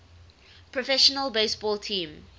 professional baseball team